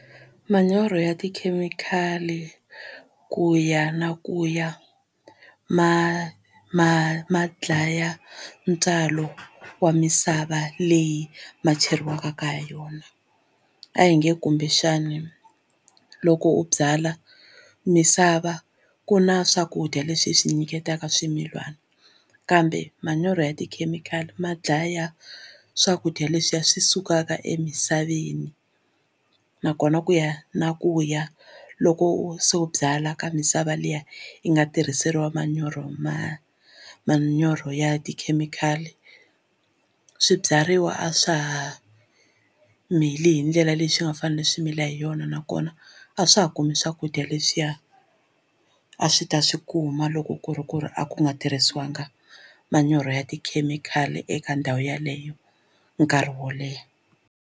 Manyoro ya tikhemikhali ku ya na ku ya ma ma ma dlaya ntswalo wa misava leyi ma cheriwaka ka yona a hi nge kumbexana loko u byala misava ku na swakudya leswi hi swi nyiketaka swimilana kambe manyoro ya tikhemikhali ma dlaya swakudya leswiya swi sukaka emisaveni nakona ku ya na ku ya loko se u byala ka misava liya yi nga tirhiseriwa manyoro ma manyoro ya tikhemikhali swibyariwa a swa ha mili hi ndlela leyi swi nga fanela swi mili hi yona nakona a swa ha kumi swakudya leswiya a swi ta swi kuma loko ku ri ku ri a ku nga tirhisiwangi manyoro ya tikhemikhali eka ndhawu yeleyo nkarhi wo leha.